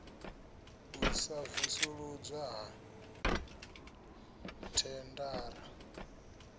u sa vusuludzwa ha thendara